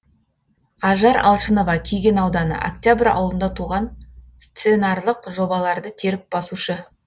ажар алшынова кеген ауданы октябрь ауылында туған сценарлық жобаларды теріп басушы